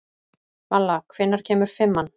Malla, hvenær kemur fimman?